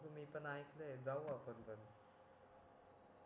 बघू मी पण ऐकलं आहे जाऊ आपण पण